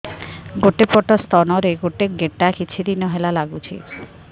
ଗୋଟେ ପଟ ସ୍ତନ ରେ ଗୋଟେ ଗେଟା କିଛି ଦିନ ହେଲା ଲାଗୁଛି